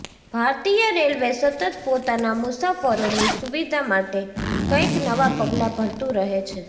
ભારતીય રેલવે સતત પોતાના મુસાફરોની સુવિધા માટે કંઈક નવા પગલા ભરતુ રહે છે